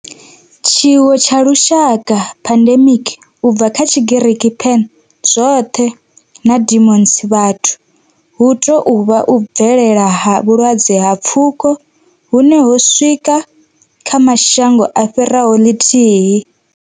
Tshiwo tsha lushaka, pandemic, u bva kha Tshigiriki pan, zwothe na demos, vhathu, hu tou vha u bvelela ha vhulwadze ha pfuko hune ho swika kha mashango a fhiraho ḽithihi.